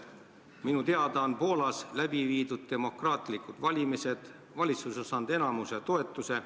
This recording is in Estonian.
Minu teada on Poolas toimunud demokraatlikud valimised, valitsus on saanud enamuse toetuse.